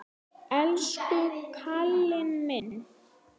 Elsku karlinn minn.